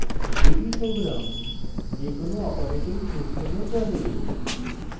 ruby program যেকোনো operating system চলে